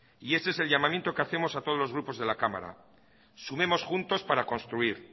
y ese es el llamamiento que hacemos a todos los grupos de la cámara sumemos juntos para construir